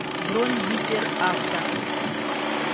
бронь гиперавто